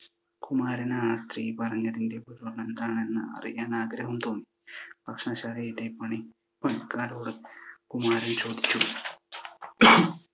കുമാരന് ആ സ്ത്രീ പറഞ്ഞതിൻ്റെ പൊരുൾ എന്താണെന്ന് അറിയാൻ ആഗ്രഹം തോന്നി. ഭക്ഷണശാലയിലെ പണി~പണിക്കാരോടും കുമാരൻ ചോദിച്ചു.